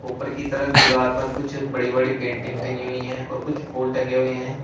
ऊपर की तरफ दीवार पर कुछ बड़ी बड़ी पेंटिंग टंगी हुई हैं और कुछ फूल टंगे हुए हैं।